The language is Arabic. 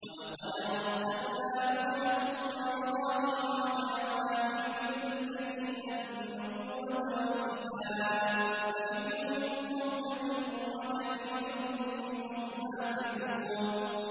وَلَقَدْ أَرْسَلْنَا نُوحًا وَإِبْرَاهِيمَ وَجَعَلْنَا فِي ذُرِّيَّتِهِمَا النُّبُوَّةَ وَالْكِتَابَ ۖ فَمِنْهُم مُّهْتَدٍ ۖ وَكَثِيرٌ مِّنْهُمْ فَاسِقُونَ